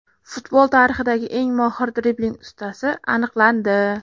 Futbol tarixidagi eng mohir dribling ustasi aniqlandi.